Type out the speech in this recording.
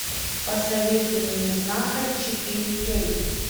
посоветуй мне знахарь четыре кей